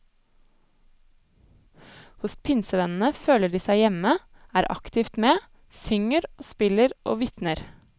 Hos pinsevennene føler de seg hjemme, er aktivt med, synger og spiller og vitner.